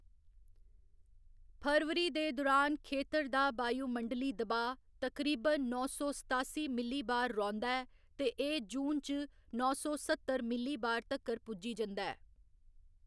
फरवरी दे दुरान खेतर दा वायुमंडली दबाऽ तकरीबन नौ सौ सतासी मिलीबार रौंह्‌‌‌दा ऐ ते एह्‌‌ जून च नौ सौ सत्तर मिलीबार तक्कर पुज्जी जंदा ऐ।